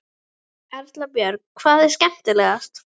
Erla Björg: Hvað er skemmtilegast?